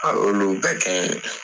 A y'olu bɛ kɛ